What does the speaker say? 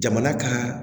Jamana ka